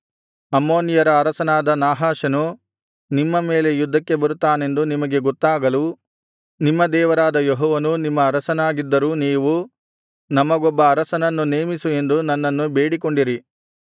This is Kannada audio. ಅಮ್ಮೋನಿಯರ ಅರಸನಾದ ನಾಹಾಷನು ನಿಮ್ಮ ಮೇಲೆ ಯುದ್ಧಕ್ಕೆ ಬರುತ್ತಾನೆಂದು ನಿಮಗೆ ಗೊತ್ತಾಗಲು ನಿಮ್ಮ ದೇವರಾದ ಯೆಹೋವನು ನಿಮ್ಮ ಅರಸನಾಗಿದ್ದರೂ ನೀವು ನಮಗೊಬ್ಬ ಅರಸನನ್ನು ನೇಮಿಸು ಎಂದು ನನ್ನನ್ನು ಬೇಡಿಕೊಂಡಿರಿ